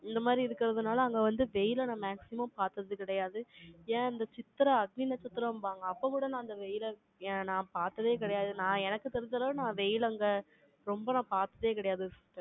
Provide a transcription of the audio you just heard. இந்த மாதிரி இருக்கறதுனால, அங்க வந்து வெயிலை நான் maximum பார்த்தது கிடையாது ஏன், இந்த சித்திரா, அக்னி நட்சத்திரம்பாங்க. அப்ப கூட, நான் அந்த வெயிலை, ஏ நான் பார்த்ததே கிடையாது. நான், எனக்கு தெரிஞ்ச அளவு, நான் வெயில், அங்க, ரொம்ப நான், பார்த்ததே கிடையாது.